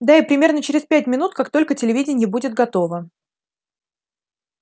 да и примерно через пять минут как только телевидение будет готово